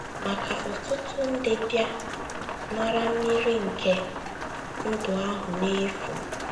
Ma ka ọtụtụ ndị bịa “ nara mmiri nke ndụ ahụ n’efu. ”